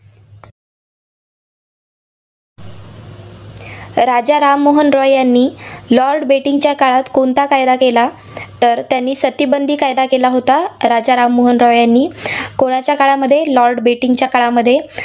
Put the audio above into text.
राजा राम मोहन रॉय यांनी लॉर्ड बेटिंकच्या काळात कोणता कायदा केला? तर त्यांनी सतीबंदी कायदा केला होता, राज राम मोहन रॉय यांनी कोणाच्या काळामध्ये लॉर्ड बेटिंकच्या काळामध्ये